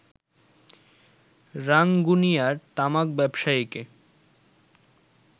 রাঙ্গুনিয়ার তামাক ব্যবসায়ীকে